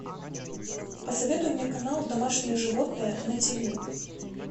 посоветуй мне канал домашние животные на тв